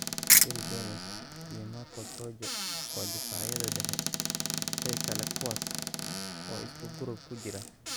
Phil Jones iyo Marcos Rojo waa daafacyada dhexe ee kale kuwaas oo isku group ku jira.